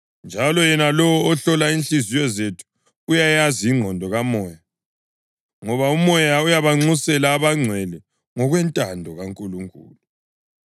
Njalo yena lowo ohlola inhliziyo zethu uyayazi ingqondo kaMoya, ngoba uMoya uyabanxusela abangcwele ngokwentando kaNkulunkulu.